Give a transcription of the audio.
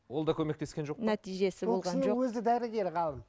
ол да көмектескен жоқ нәтижесі өзі дәрігер ғалым